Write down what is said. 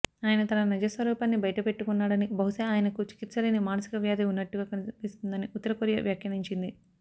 ఆయన తన నిజస్వరూపాన్ని బయటపెట్టుకున్నాడని బహుశా ఆయనకు చికిత్సలేని మానసిక వ్యాధి ఉన్నట్టుగా కనిపిస్తోందని ఉత్తరకొరియా వ్యాఖ్యానించింది